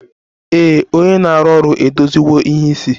Ee, onye na-arụ ọrụ edoziwo ìhè isi